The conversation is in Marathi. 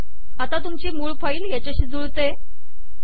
आता तुमची मूळ फाईल याच्याशी जुळते